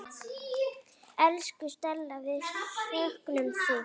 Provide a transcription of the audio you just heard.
Elsku Stella, við söknum þín.